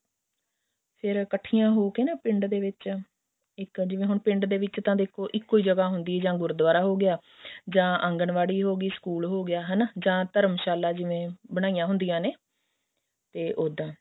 ਫ਼ੇਰ ਇੱਕਠੀਆਂ ਹੋਕੇ ਨਾ ਪਿੰਡ ਦੇ ਵਿੱਚ ਇੱਕ ਜਿਵੇਂ ਹੁਣ ਪਿੰਡ ਦੇ ਵਿੱਚ ਤਾਂ ਦੇਖੋ ਇੱਕ ਹੀ ਜਗ੍ਹਾ ਹੁੰਦੀ ਆ ਜਾਂ ਗੁਰੂਦੁਆਰਾ ਹੋਗਿਆ ਜਾਂ ਆਂਗਨਵਾੜੀ ਹੋਗੀ ਸਕੂਲ ਹੋਗਿਆ ਹਨਾ ਜਾਂ ਧਰਮਸ਼ਾਲਾ ਜਿਵੇਂ ਬਣਾਈਆਂ ਹੁੰਦੀਆਂ ਨੇ ਤੇ ਉੱਦਾਂ